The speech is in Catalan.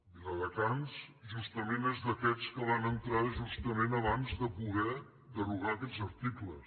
viladecans justament és d’aquests que van entrar justament abans de poder de·rogar aquests articles